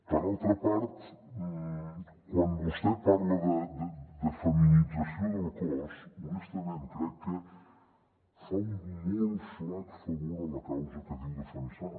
per altra part quan vostè parla de feminització del cos honestament crec que fa un molt flac favor a la causa que diu defensar